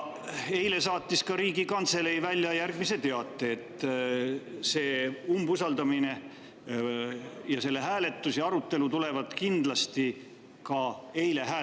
Eile saatis Riigikantselei välja ka teate, et see umbusaldamine ja arutelu ja selle hääletus tulevad kindlasti eile.